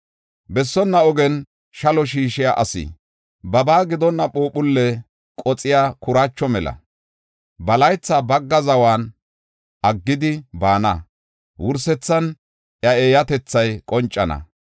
Bessonna ogen shalo shiishiya asi babaa gidonna phuuphulle qoxiya kuraacho mela. Ba laytha bagga zawan aggidi baana; wursethan iya eeyatethay qoncana.